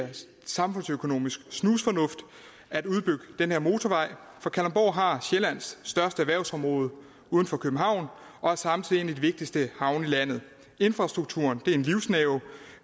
samfundsøkonomisk snusfornuft at udbygge den her motorvej for kalundborg har sjællands største erhvervsområde uden for københavn og er samtidig en af de vigtigste havne i landet infrastrukturen er en livsnerve